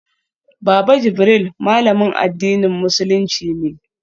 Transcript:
Baba Jibril malamin addinin musulunci ne